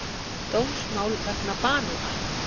Dómsmál vegna banana